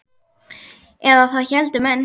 Eða það héldu menn.